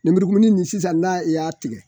Nemurukumuni nin sisan na i y'a tigɛ